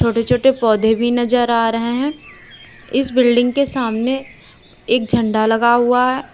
छोटे छोटे पौधे भी नजर आ रहे हैं इस बिल्डिंग के सामने एक झंडा लगा हुआ है।